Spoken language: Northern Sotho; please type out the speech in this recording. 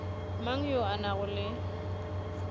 mang yo a nago le